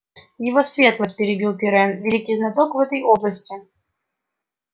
его светлость перебил пиренн великий знаток в этой области